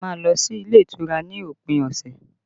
A má lọ sí ilé ìtura ní òpin ọ̀sẹ̀